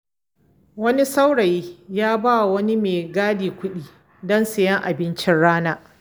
Wani saurayi ya ba wa wani maigadi kuɗi don sayen abincin rana.